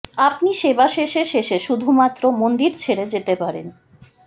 আপনি সেবা শেষে শেষে শুধুমাত্র মন্দির ছেড়ে যেতে পারেন